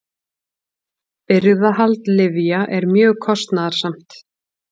Birgðahald lyfja er mjög kostnaðarsamt.